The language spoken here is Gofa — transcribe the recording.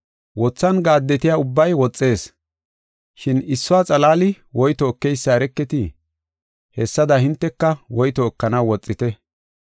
Wothan gaaddetiya ubbay woxees, shin issuwa xalaali woyto ekeysa ereketii? Hessada hinteka woyto ekanaw woxite.